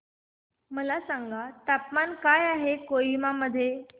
मला सांगा तापमान काय आहे कोहिमा मध्ये